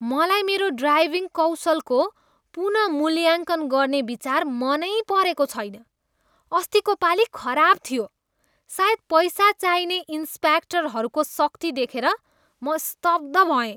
मलाई मेरो ड्राइभिङ कौशलको पुनः मूल्याङ्कन गर्ने विचार मनै परेको छैन। अस्तिको पालि खराब थियो। सायद पैसा चाहिने इन्स्पेक्टरहरूको सख्ती देखेर म स्तब्ध भएँ।